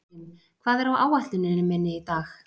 Karim, hvað er á áætluninni minni í dag?